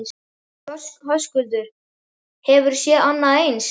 Höskuldur: Hefurðu séð annað eins?